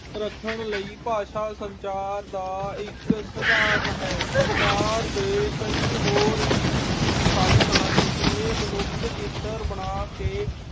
ਰੱਖਣ ਲਈ ਭਾਸ਼ਾ ਸੰਚਾਰ ਦਾ ਇੱਕ ਸਾਧਨ ਹੈ। ਸੰਚਾਰ ਦੇ ਕਈ ਹੋਰ ਵੀ ਸਾਧਨ ਹਨ ਜਿਵੇਂ ਮਨੁੱਖ ਚਿੱਤਰ ਬਣਾ ਕੇ